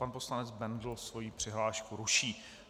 Pan poslanec Bendl svoji přihlášku ruší.